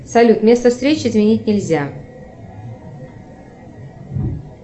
салют место встречи изменить нельзя